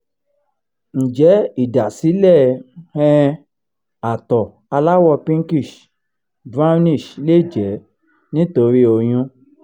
njẹ idasile um àtọ̀ alawo pinkish brownish le jẹ nitori oyun?